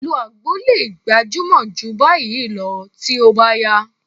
Ìlò àgbo lè gbajúmọ̀ jù báyìí lọ tí ó bá yá